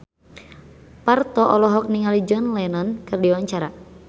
Parto olohok ningali John Lennon keur diwawancara